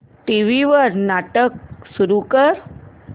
TV वर नाटक सुरू कर